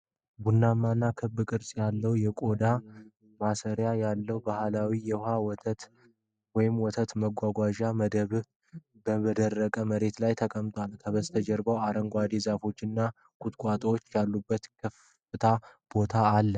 ቡናማና ክብ ቅርጽ ያለው የቆዳ ማሰሪያ ያለው ባህላዊ የውሃ ወይም ወተት መያዣ መደብ በደረቅ መሬት ላይ ተቀምጧል። ከበስተጀርባው አረንጓዴ ዛፎችና ቁጥቋጦዎች ያሉበት ክፍት ቦታ አለ።